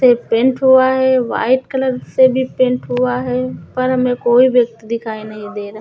से पेंट हुआ है व्हाइट कलर से भी पेंट हुआ है ऊपर में कोई व्यक्ति दिखाई नहीं दे रा।